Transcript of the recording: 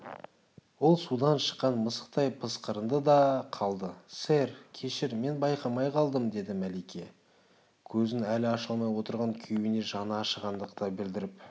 ол судан шыққан мысықтай пысқырынды да қалды сэр кешір мен байқамай қалдым деді мәлике көзін әлі аша алмай отырған күйеуіне жаны ашығандық білдіріп